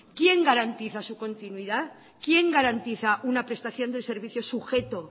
quién garantiza su continuidad quién garantiza una prestación de servicio sujeto